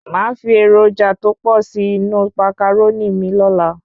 Máa fi èròjà tó pò sí inú Màcàrónì mi lóla